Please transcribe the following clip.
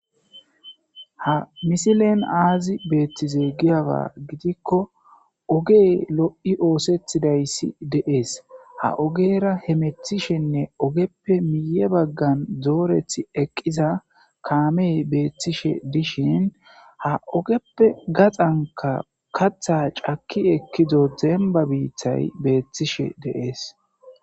ha misilen aazi beethtize giyawa gidikko ogey lo7i oosetidayssi deees ha ogera he methishenne ogeppe miye baggan dooreth eqqiza kaamey beeththishe dishin ha ogeppe gaxanka katha caki ekkido demba biitthay beethtishe deees